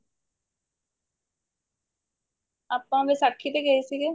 ਆਪਾਂ ਵਿਸ਼ਾਖੀ ਤੇ ਗਏ ਸੀਗੇ